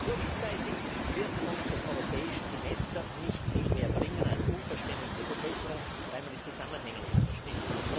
Kurzzeitig wird uns das Europäische Semester nicht viel mehr bringen als Unverständnis in der Bevölkerung, weil man die Zusammenhänge nicht versteht.